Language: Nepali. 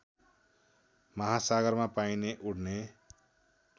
महासागरमा पाइने उड्ने